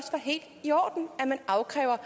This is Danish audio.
helt i orden at man afkræver